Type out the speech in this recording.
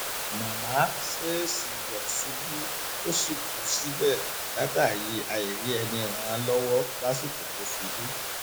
màmá ṣèèṣì yọ ṣubú tó sì kù síbẹ látàrí àìrí ẹni ràn án lọwọ lásìkò tó ṣubú